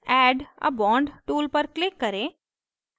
add a bond tool पर click करें